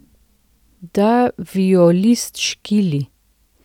Da violist škili.